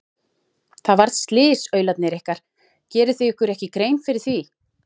Það varð slys, aularnir ykkar, gerið þið ykkur ekki grein fyrir því?